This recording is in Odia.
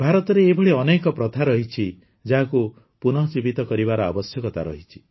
ଭାରତରେ ଏହିଭଳି ଅନେକ ପ୍ରକାର ପ୍ରଥା ରହିଛି ଯାହାକୁ ପୁନଃଜୀବିତ କରିବାର ଆବଶ୍ୟକତା ରହିଛି